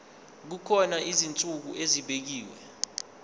kukhona izinsuku ezibekiwe